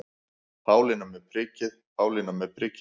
Pálína með prikið, Pálína með prikið.